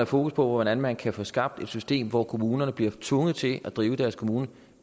fokus på hvordan man kan få skabt et system hvor kommunerne bliver tvunget til at drive deres kommune